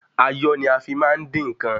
Ayọ́ ni a fi má ń dín ǹkan.